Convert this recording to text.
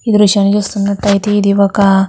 ఈ దృశ్యాన్ని చూస్తున్నటైతే ఇది ఒక --